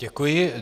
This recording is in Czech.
Děkuji.